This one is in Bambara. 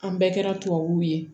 An bɛɛ kɛra tubabuw ye